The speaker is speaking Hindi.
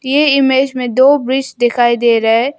ये इमेज में दो ब्रिज दिखाई दे रहा है।